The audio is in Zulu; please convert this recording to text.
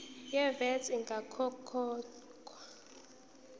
ye vat ingakakhokhwa